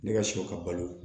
Ne ka sɔ ka balo